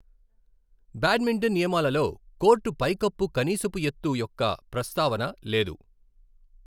Badminton నియమాలలో court పైకప్పు కనీసపు ఎత్తు యొక్క ప్రస్తావన లేదు.